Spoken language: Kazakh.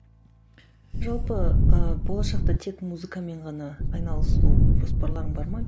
жалпы ы болашақта тек музыкамен ғана айналысу жоспарларың бар ма